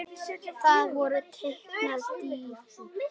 Það voru teknar dýfur.